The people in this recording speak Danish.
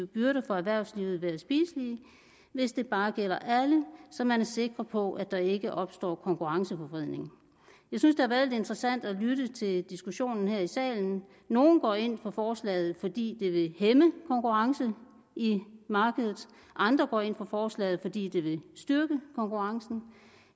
byrder for erhvervslivet være spiselige hvis det bare gælder alle så man er sikker på at der ikke opstår konkurrenceforvridning jeg synes det har været interessant at lytte til diskussionen her i salen nogle går ind for forslaget fordi det vil hæmme konkurrencen i markedet andre går ind for forslaget fordi det vil styrke konkurrencen